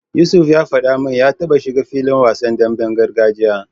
Yusuf ya faɗa min ya taba shiga filin wasan demben gargajiya.